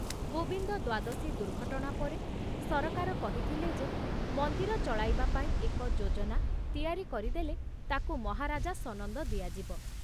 ଗୋବିନ୍ଦ ଦ୍ଵାଦଶୀ ଦୁର୍ଘଟଣା ପରେ ସରକାର କହିଥିଲେ ଯେ ମନ୍ଦିର ଚଳାଇବା ପାଇଁ ଏକ ଯୋଜନା ତିଆରି କରିଦେଲେ ତାକୁ ମହାରାଜା ସନନ୍ଦ ଦିଆଯିବ।